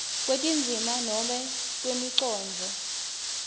kwetindzima noma kwemicondvo